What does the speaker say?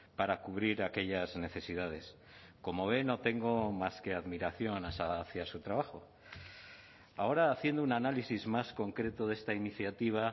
para cubrir aquellas necesidades como ven no tengo más que admiración hacia su trabajo ahora haciendo un análisis más concreto de esta iniciativa